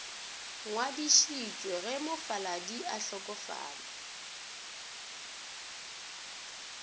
ngwadišitšwe ge mofaladi a hlokofala